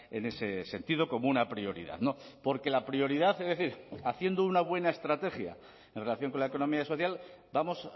en ese sentido como una prioridad porque la prioridad es decir haciendo una buena estrategia en relación con la economía social vamos